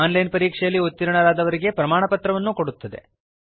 on line ಪರೀಕ್ಷೆಯಲ್ಲಿ ಉತ್ತೀರ್ಣರಾದವರಿಗೆ ಪ್ರಮಾಣಪತ್ರ ಕೊಡುತ್ತದೆ